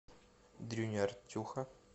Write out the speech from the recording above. дрюни артюха